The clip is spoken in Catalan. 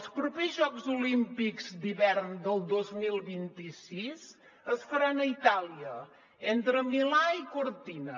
els propers jocs olímpics d’hivern del dos mil vint sis es faran a itàlia entre milà i cortina